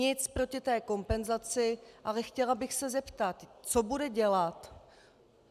Nic proti té kompenzaci, ale chtěla bych se zeptat, co bude dělat...